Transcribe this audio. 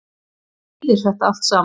Hvað þýðir þetta allt saman